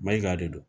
Mayiga de don